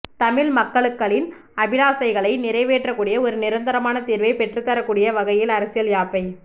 தமிழ் மக்களுக்களின் அபிலாசைகளை நிறைவேற்றக்கூடிய ஒரு நிரந்தரமான தீர்வை பெற்றுத்தரக்கூடிய வகையில் அரசியல் யாப்பை